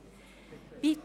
können.